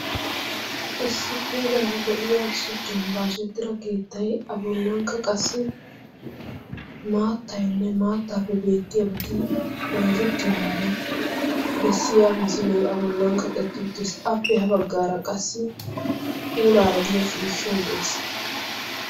Issi puulaara de"iyaa shuchchan baasettida keettay A bollankka qassi maattaynne maattaappe beettiyaabati bayzettiyoogaadan bessiyaa misilee A bollan kaqetti uttis. Appe ha baggaara qassi puulaara de"iyaa ciishshay de'ees.